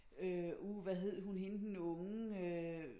Øh uh hvad hed hun hende den unge øh